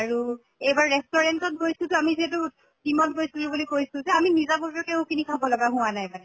আৰু এইবাৰ restaurant গৈছো তো আমি যিহাতু team ত গৈছিলো বুলি কৈছো, আমি নিজা ববিয়াকেও কিনি খাব লাগা হোৱা নাই মানে।